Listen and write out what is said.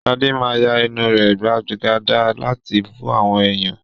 Shade máa ya ẹnu rẹ̀ gbàgàdà láti bú àwọn èèyàn